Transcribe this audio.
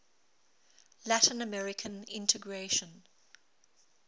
latin american integration